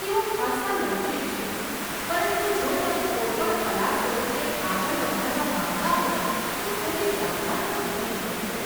તેઓ ખાસ્સા લવચીક છે પરંતુ જો તમે કોઈપણ કલા સ્વરૂપને આગળ વધારવા માંગતા હો તો થોડી દોડધામ તો થતી જ હોય છે.